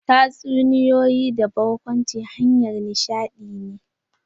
Tatsunitoyi da barkwanci hanyar nishadi ne.